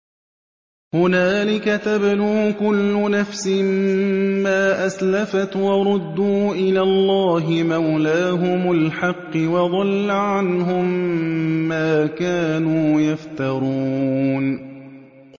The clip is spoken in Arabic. هُنَالِكَ تَبْلُو كُلُّ نَفْسٍ مَّا أَسْلَفَتْ ۚ وَرُدُّوا إِلَى اللَّهِ مَوْلَاهُمُ الْحَقِّ ۖ وَضَلَّ عَنْهُم مَّا كَانُوا يَفْتَرُونَ